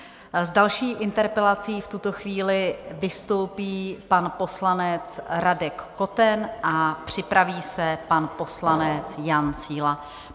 S další interpelací v tuto chvíli vystoupí pan poslanec Radek Koten a připraví se pan poslanec Jan Síla.